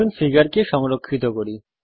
আসুন এখন ফিগারকে সংরক্ষিত করি